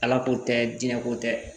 Ala ko tɛ diɲɛ ko tɛ